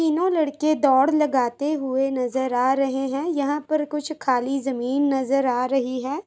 तीनो लड़के दौड़ लगाते हुए नजर आ रहे हैं यहाँ पर कुछ खाली जमीन नज़र आ रही है |